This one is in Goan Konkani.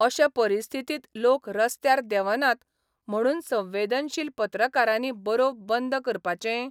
अशे परिस्थितींत लोक रस्त्यार देवनात म्हणून संवेदनशील पत्रकारांनी बरोवप बंद करपाचें?